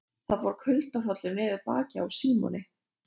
Það fór kuldahrollur niður bakið á Símoni.